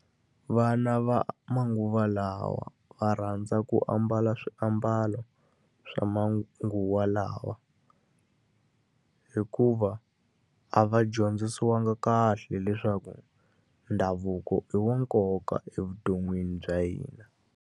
Vana va manguva lawa va rhandza ku ambala swiambalo swa manguva lawa, hikuva a va dyondzisiwangi kahle leswaku ndhavuko i wa nkoka evuton'wini bya hina.